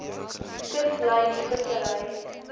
kuslyn vissery